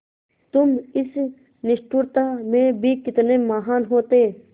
तुम इस निष्ठुरता में भी कितने महान् होते